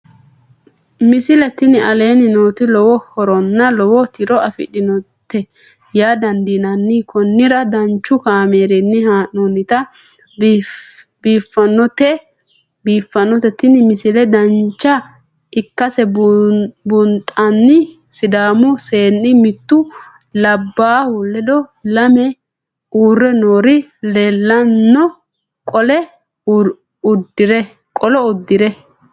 misile tini aleenni nooti lowo horonna lowo tiro afidhinote yaa dandiinanni konnira danchu kaameerinni haa'noonnite biiffannote tini misile dancha ikkase buunxanni sidaamu seenni mittu labbahu ledo lame uurre noori leelanno qolo uddire